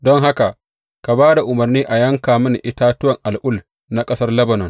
Don haka, ka ba da umarni a yanka mini itatuwan al’ul na ƙasar Lebanon.